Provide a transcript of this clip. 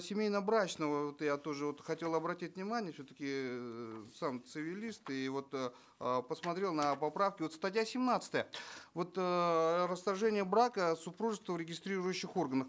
семейно брачного вот я тоже вот хотел обратить внимание все таки эээ сам цивилист и вот э посмотрел на поправки вот статья семнадцатая вот эээ расторжение брака супружества в регистрирующих органах